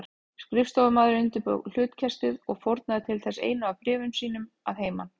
Skrifstofumaðurinn undirbjó hlutkestið og fórnaði til þess einu af bréfum sínum að heiman.